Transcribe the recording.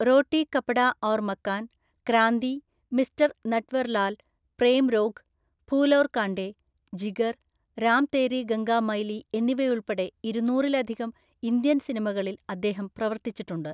റോട്ടി Kapda Aur Makaan, Kranti, Mister Natwarlal, Prem Rog, Phool Aur Kaante, Jigar, Ram Teri Ganga Maili എന്നിവയുൾപ്പെടെ ഇരുന്നൂറിലധികം Indian സിനിമകളിൽ അദ്ദേഹം പ്രവർത്തിച്ചിട്ടുണ്ട്.